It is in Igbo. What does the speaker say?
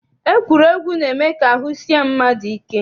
Egwuregwu na-eme ka ahụ sie mmadụ ike.